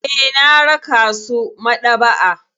Eh, na raka su maɗaba'a.